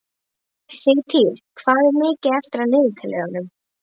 Sigtýr, hvað er mikið eftir af niðurteljaranum?